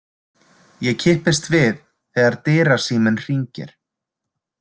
Ég kippist við þegar dyrasíminn hringir.